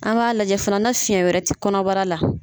An m'a lajɛ fana na fiyɛn wɛrɛ tɛ kɔnɔbara la.